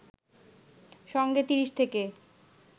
সঙ্গে ৩০ থেকে